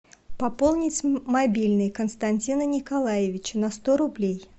пополнить мобильный константина николаевича на сто рублей